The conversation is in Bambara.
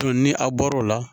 ni a bɔr'o la